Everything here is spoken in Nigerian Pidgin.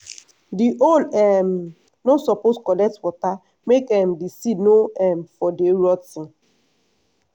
di hole um no suppose collect water make um di seed no um for dey rot ten.